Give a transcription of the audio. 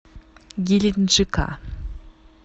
геленджика